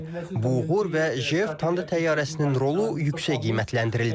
Bu uğur və JF Thunder təyyarəsinin rolu yüksək qiymətləndirildi.